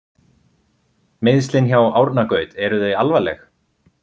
Meiðslin hjá Árna Gaut eru þau alvarleg?